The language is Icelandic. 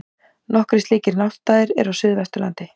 Nokkrir slíkir náttstaðir eru á Suðvesturlandi.